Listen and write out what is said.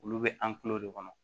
Olu bɛ an tulo de kɔnɔ